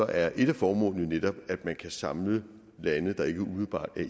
er et af formålene jo netop at man kan samle lande der ikke umiddelbart er